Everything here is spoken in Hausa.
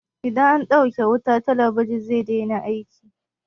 Idan an ɗauke wuta, talabijin zai daina aiki.